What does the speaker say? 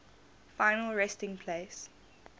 final resting place